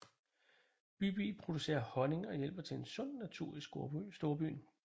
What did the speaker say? Bybi producerer honning og hjælper til en sund natur i storbyen